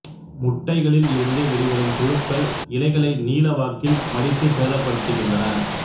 முட்டைகளில் இருந்து வெளிவரும் புழுக்கள் இலைகளை நீளவாக்கில் மடித்துச் சேதப்படுத்துகின்றன